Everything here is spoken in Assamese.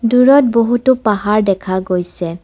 দূৰত বহুতো পাহাৰ দেখা গৈছে।